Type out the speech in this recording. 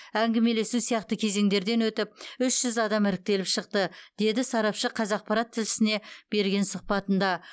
әңгімелесу сияқты кезеңдерден өтіп үш жүз адам іріктеліп шықты деді сарапшы қазақпарат тілшісіне берген сұхбатында